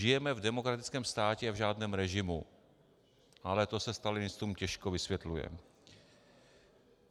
Žijeme v demokratickém státě a v žádném režimu, ale to se stalinistům těžko vysvětluje.